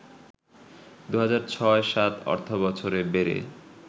২০০৬-০৭ অর্থবছরে বেড়ে